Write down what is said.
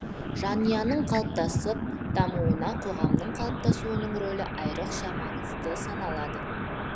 жанұяның қалыптасып дамуына қоғамның қалыптасуының рөлі айрықша маңызды саналады